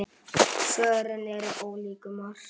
Svörin eru ólík um margt.